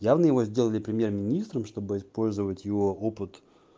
явно его сделали премьер-министром чтобы использовать его опыт